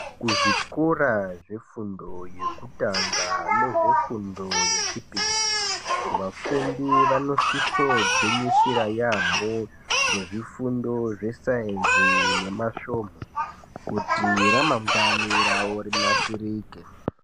Kuzvikora zvefundo yokutanga, nezvofundo yechipiri, vafundi vanosisogwinyisira yaamho, ngezvifundo zvesainzi nemasvomhu, kuti ramangwani ravo rinasirike.